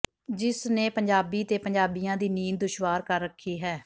ਜਿਸਨੇ ਪੰਜਾਬੀ ਤੇ ਪੰਜਾਬੀਆਂ ਦੀ ਨੀਂਦ ਦੁਸ਼ਵਾਰ ਕਰ ਰੱਖੀ ਹੈ